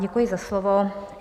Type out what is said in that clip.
Děkuji za slovo.